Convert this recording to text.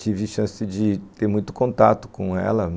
Tive chance de ter muito contato com ela.